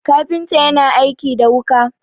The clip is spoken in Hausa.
kafinta yana aiki da wuka